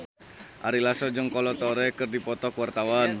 Ari Lasso jeung Kolo Taure keur dipoto ku wartawan